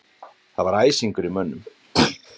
Það var æsingur í mönnum